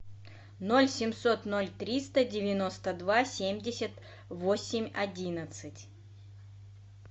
ноль семьсот ноль триста девяносто два семьдесят восемь одиннадцать